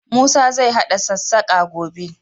Musa zai haɗa sassaƙa, gobe.